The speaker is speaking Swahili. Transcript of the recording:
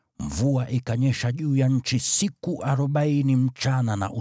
Mvua ikanyesha juu ya nchi siku arobaini usiku na mchana.